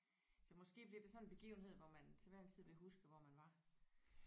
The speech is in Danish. Så måske bliver det sådan en begivenhed hvor man til hver en tid vil huske hvor man var